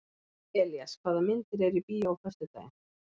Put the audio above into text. Elías, hvaða myndir eru í bíó á föstudaginn?